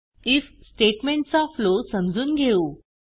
if statement चा flow समजून घेऊ